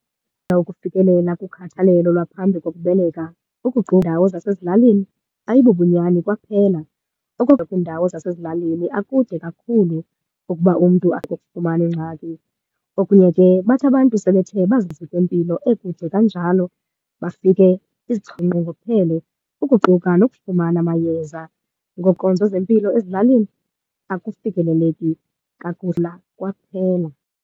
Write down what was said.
Ukufikelela kukhathalelo lwaphambi kokubeleka iindawo zasezilalini ayibobunyani kwaphela. kwiindawo zasezilalini akude kakhulu ukuba umntu abe ukufumana ingxaki. Okunye ke bathi abantu sebethe bazinike mpilo ekude kanjalo bafike zinqongophele, ukuquka nokufumana amayeza. nkonzo zempilo ezilalini akufikeleleki lula kwaphela.